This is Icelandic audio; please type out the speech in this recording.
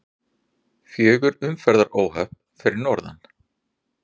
Fjögur umferðaróhöpp fyrir norðan